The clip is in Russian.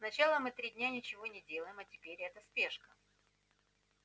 сначала мы три дня ничего не делаем а теперь эта спешка